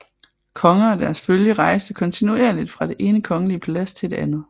Konger og deres følge rejste kontinuerligt fra det ene kongelige palads til et andet